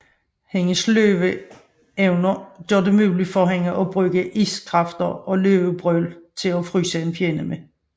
Hendes løveevner gør det muligt for hende at bruge iskræfter og løvebrøl til at fryse en fjende med